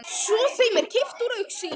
Svo er þeim kippt úr augsýn.